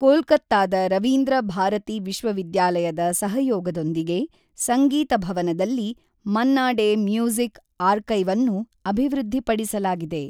ಕೊಲ್ಕತ್ತಾದ ರವೀಂದ್ರ ಭಾರತಿ ವಿಶ್ವವಿದ್ಯಾಲಯದ ಸಹಯೋಗದೊಂದಿಗೆ ಸಂಗೀತ ಭವನದಲ್ಲಿ ಮನ್ನಾ ಡೇ ಮ್ಯೂಸಿಕ್ ಆರ್ಕೈವ್ಅನ್ನು ಅಭಿವೃದ್ಧಿಪಡಿಸಲಾಗಿದೆ.